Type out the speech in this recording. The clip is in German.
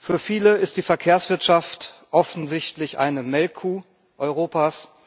Für viele ist die Verkehrswirtschaft offensichtlich eine Melkkuh Europas.